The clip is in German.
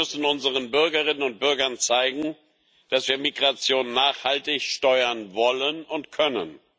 Wir müssen unseren Bürgerinnen und Bürgern zeigen, dass wir Migration nachhaltig steuern wollen und können.